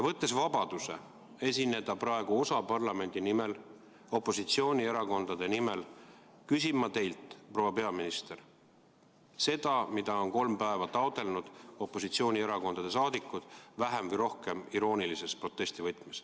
Võttes vabaduse esineda praegu ühe osa parlamendi nimel, opositsioonierakondade nimel, küsin ma teilt, proua peaminister, seda, mida on kolm päeva taotlenud opositsioonierakondade liikmed vähem või rohkem iroonilise protesti võtmes.